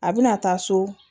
A bɛna taa so